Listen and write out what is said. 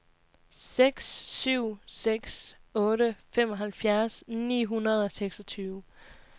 seks syv seks otte femoghalvfjerds ni hundrede og seksogtyve